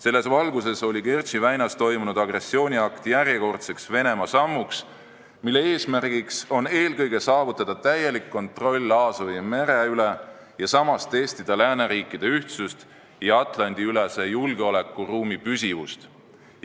Selles valguses on Kertši väinas toimunud agressiooniakt järjekordne Venemaa samm, mille eesmärk on eelkõige saavutada täielik kontroll Aasovi mere üle ning samas testida lääneriikide ühtsust ja Atlandi-ülese julgeolekuruumi püsivust.